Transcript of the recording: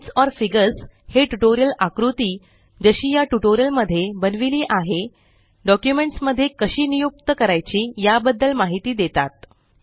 tables और figures हे tutorial आकृतिजशी या ट्यूटोरियल मध्ये बनविली आहे डॉक्युमेंट्स मध्ये कशी नियुक्त करायची याबद्दल माहीत देतात